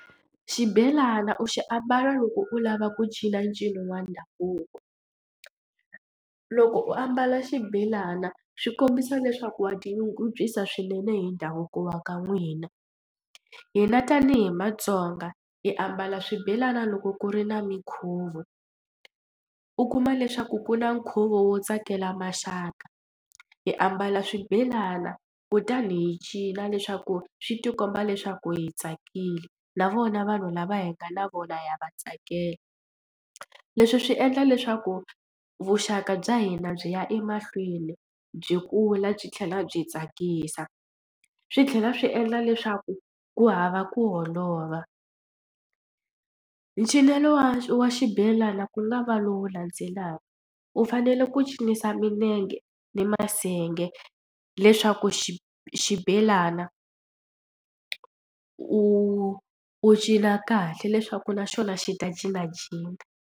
Xibelana u xi ambalo loko u lava ku cinca ncino wa ndhavuko. Loko u ambala xibelana swi kombisa leswaku wa tinyungubyisa swinene hi ndhavuko wa ka n'wina. Hina tanihi matsonga hi ambala swibelani loko ku ri na minkhuvo u kuma leswaku ku na nkhuvo wo tsakela maxaka hi ambala swibelana kutani hi cina leswaku swi tikomba leswaku hi tsakile na vona vanhu lava hi nga na vona ya va tsakela. Leswi swi endla leswaku vuxaka bya hina byi ya emahlweni byi kula byi tlhela byi tsakisa swi tlhela swi endla leswaku ku hava ku holova. Cinelo wa wa xibelana ku nga va lowu landzelaka u fanele ku cinisa milenge ni masenge leswaku xi xibelana u u cina kahle leswaku naxona xi ta cinacina.